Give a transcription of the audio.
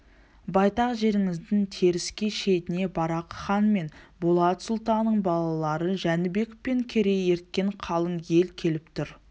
байтақ жеріңіздің теріскей шетіне барақ хан мен болат сұлтанның балалары жәнібек пен керей ерткен қалың ел келіп тұр